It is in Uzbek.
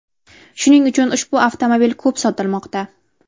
Shuning uchun ushbu avtomobil ko‘p sotilmoqda.